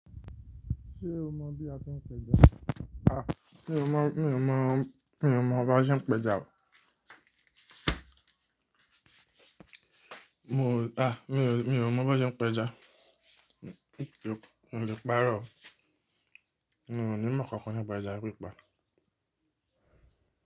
Ṣé o mọ̀ bí a ti ń péja? À, mi ò mọ̀, mi ò mọ̀, mi ò mọ̀ bá ṣe ń péja o. Mi ò mọ̀ bí wọn ṣe peja. Mi ò lè parọ́ o. Mi ò ní mọ́ kankan bá ija pípa.